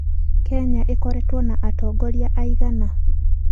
Kenya ĩkoretwo na atongoria aigana?